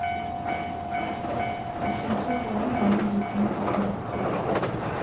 үшінші жылан оның бетіне жақындап келді